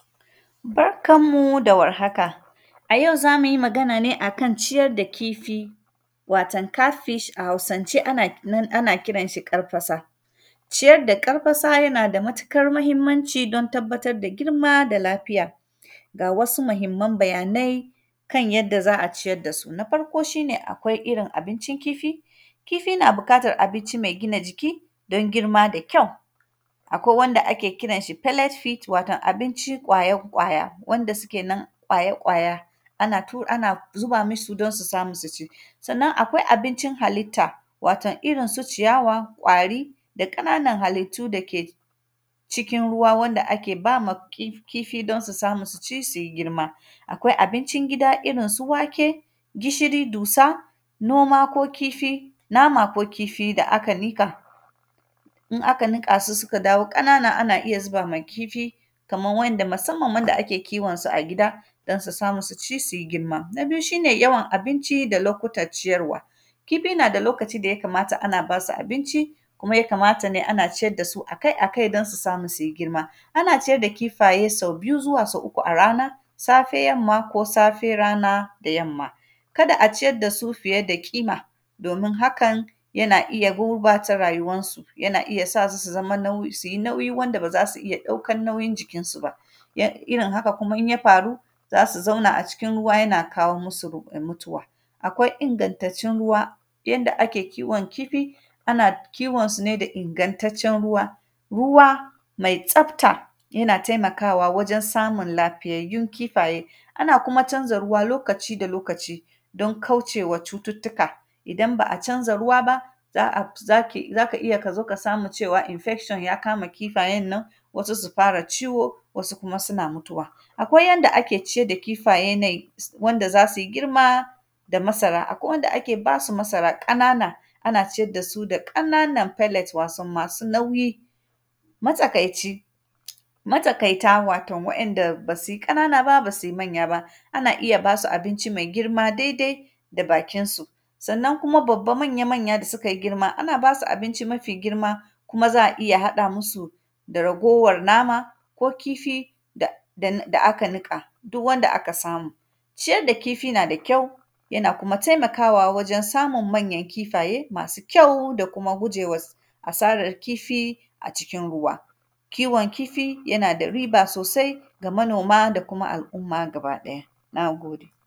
Barkan mu da warhaka, a yau za mu yi magan ne a kan ciyad da kifi. Wato, “cat fish” a Hausance ana nan ana kiran shi ƙarfasa. Ciyad da ƙarfasa yana da matikar mahimmanci don tabbatad da girma da lafiya. Ga wasu mahimman bayanai kan yadda za a ciyad da su. Na farko, shi ne akwai irin abincin kifi, kifi na bukatar abinci mai gina jiki, don girma da kyau. Akwai wanda ake kiran shi “palate fit”, wato abici ƙwaya-ƙwaya, wanda suke nan ƙwaya-ƙwaya, ana tu; ana zuba misu don su samu su ci. Sannan, akwai abincin halitta, waton irin su ciyawa, ƙwari da ƙananan halittu da ke cikin ruwa, wanda ake ba ma ƙi; kifi don su samu su ci su yi girma. Akwai abincin gida irin su wake, gishiri, dusa, noma ko kifi, nama ko kifi da aka nika. In aka nika su suka dawo ƙanana, ana iya ziba ma kifi, kaman wa’yanda, masamman wanda ake kiwon su a gida, don su samu su ci su yi girma. Na biyu, shi ne yawan abinci da lokutac ciyarwa, kifi na da lokaci da ya kamata ana ba su abinci, kuma ya kamata ne ana ciyad da su a kai a kai, don su samu su yi girma. Ana ciyad da kifaye sau biyu zuwa uku a rana, safe yamma ko safe rana da yamma. Kada a ciyad da su fiye da ƙima, don hakan, yana iya gurbata rayuwansu. Yana iya sa su su zama nauy; su yi nauyi wanda ba za su iya ɗaukan nauyin jikinsu ba, ya; irin haka kuma in ya faru, za su zauna a cikin ruwa yana kawo musu ruku; mutuwa. Akwai ingantattun ruwa, yanda ake kiwon kifi, ana kiwonsu ne da ingantaccen ruwa. Ruwa mai tsafta, yana taimakawa wajen samun lafiyayyun kifaye. Ana kuma canza ruwa lokaci da lokaci don kauce wa cututtuka, idan ba a canza ruwa ba, za ki; za ka iya ka zo ka samu cewa “infection “ ya kama kifayen nan, wasu su kama ciwo, wasu kuma suna mutuwa. Akwai yanda ake ciyad da kifaye nai, s; wanda za si girma da masara, akwai wanda ake ba su masara ƙanana, ana ciyad da su da ƙananan “palate”, waton masu nauyi. Matsakaici, matakaita, waton wa’yanda ba si ƙanana ba, ba si many aba. Ana iya ba su abinci mai girma daidai da bakinsu. Sannan kuma, babba manya-manya da sikai girma, ana ba su abinci mafi girma. Kuma, za a iya haɗa musu da ragowar nama ko kifi da, da, da aka niƙa, duk wanda aka samu. Ciyad da kifi na da kyau, yana kuma temakawa wajen samun manyan kifaye, masu kyau da kuma gujewa s; asarar kifi a cikin ruwa. Kiwon kifi, yana da riba sosai ga manoma da kuma al’umma gabaɗaya, na gode.